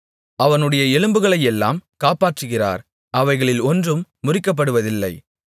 அவனுடைய எலும்புகளையெல்லாம் காப்பாற்றுகிறார் அவைகளில் ஒன்றும் முறிக்கப்படுவதில்லை